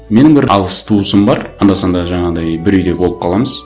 менің бір алыс туысым бар анда санда жаңағындай бір үйде болып қаламыз